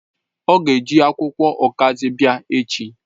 O ga-eji akwukwo okazi bia echi